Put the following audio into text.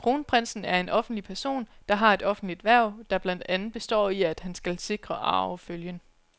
Kronprinsen er en offentlig person, der har et offentligt hverv, der blandt andet består i, at han skal sikre arvefølgen.